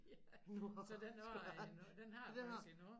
Ja så den har jeg endnu den har jeg faktisk endnu